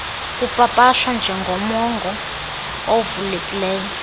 kupapashwa njengomongo ovulelekileyo